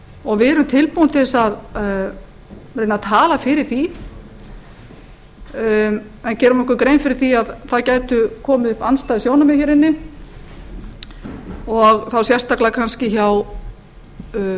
og við erum tilbúin til þess að reyna að tala fyrir því en gerum okkur grein fyrir að það geta komið upp andstæð sjónarmið hér inni og þá kannski sérstaklega hjá sjálfstæðisflokknum alla